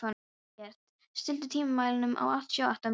Eggert, stilltu tímamælinn á áttatíu og átta mínútur.